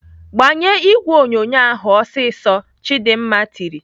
"Gbanye ìgwè onyonyo ahụ ọsịsọ!" Chidimma tiri.